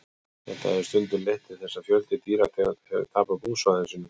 þetta hefur stundum leitt til þess að fjöldi dýrategunda hefur tapað búsvæðum sínum